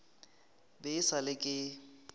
be e sa le ke